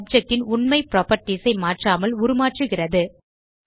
object ன் உண்மை properties ஐ மாற்றாமல் உருமாற்றுகிறது